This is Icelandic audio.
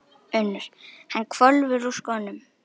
UNNUR: Hann hvolfir úr skónum.